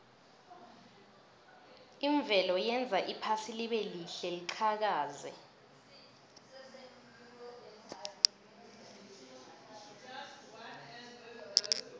imvelo yenza iphasi libelihle liqhakaze